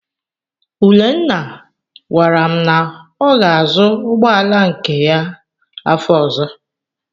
Urenna gwara m na ọ ga-azụ ụgbọala nke ya afọ ọ̀zọ́.